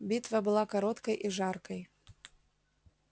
битва была короткой и жаркой